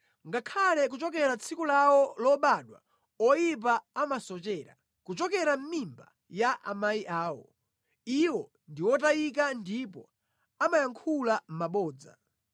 Ngakhale kuchokera tsiku lawo lobadwa oyipa amasochera; kuchokera mʼmimba ya amayi awo, iwo ndi otayika ndipo amayankhula mabodza.